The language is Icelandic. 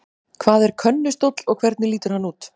Hvað er könnustóll og hvernig lítur hann út?